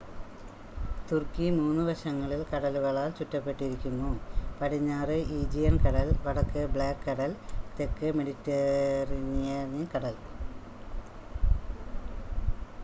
തുർക്കി 3 വശങ്ങളിൽ കടലുകളാൽ ചുറ്റപ്പെട്ടിരിക്കുന്നു പടിഞ്ഞാറ് ഈജിയൻ കടൽ വടക്ക് ബ്ലാക്ക് കടൽ തെക്ക് മെഡിറ്ററേനിയൻ കടൽ